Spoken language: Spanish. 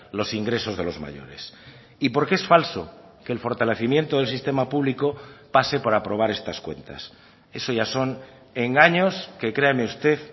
los ingresos de los mayores y porque es falso que el fortalecimiento del sistema público pase por aprobar estas cuentas eso ya son engaños que créame usted